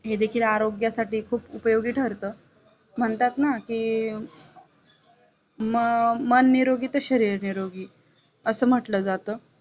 ये देखील आरोग्यासाठी खूप उपयोगी ठरतं, म्हणतात ना की ममन निरोगी तर शरीर निरोगी असं म्हटलं जातं.